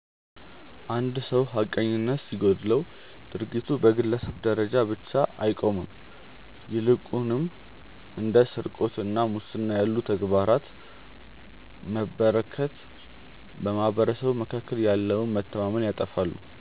አንድ ሰው ሐቀኝነት ሲጎድለው ድርጊቱ በግለሰብ ደረጃ ብቻ አይቆምም ይልቁንም እንደ ስርቆትና ሙስና ያሉ ተግባራት መበራከት በማኅበረሰቡ መካከል ያለውን መተማመን ያጠፋሉ።